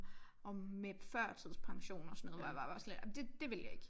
Om med førtidspension og sådan noget hvor jeg bare var sådan lidt ej men det dét vil jeg ikke